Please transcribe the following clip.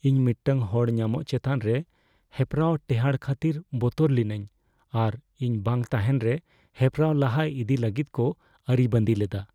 ᱤᱧ ᱢᱤᱫᱴᱟᱝ ᱦᱚᱲ ᱧᱟᱢᱚᱜ ᱪᱮᱛᱟᱱ ᱨᱮ ᱦᱮᱯᱨᱟᱣ ᱴᱮᱦᱟᱸᱰ ᱠᱷᱟᱹᱛᱤᱨ ᱵᱚᱛᱚᱨ ᱞᱤᱱᱟᱹᱧ ᱟᱨ ᱤᱧ ᱵᱟᱝ ᱛᱟᱦᱮᱱ ᱨᱮ ᱦᱮᱯᱨᱟᱣ ᱞᱟᱦᱟ ᱤᱫᱤ ᱞᱟᱹᱜᱤᱫ ᱠᱚ ᱟᱹᱨᱤᱵᱟᱸᱫᱤ ᱞᱮᱫᱟ ᱾